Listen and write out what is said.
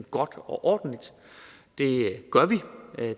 godt og ordentligt det gør vi